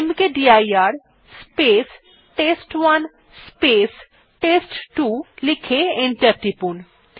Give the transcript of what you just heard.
মকদির space test one space test two লিখে enter টিপুন